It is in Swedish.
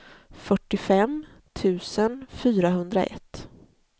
fyrtiofem tusen fyrahundraett